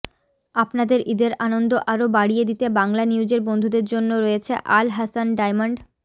আপনাদের ঈদের আনন্দ আরও বাড়িয়ে দিতে বাংলানিউজের বন্ধুদের জন্য রয়েছে আল হাসান ডায়মন্ড